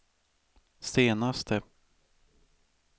senaste